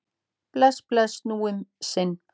Bless, bless, nú um sinn.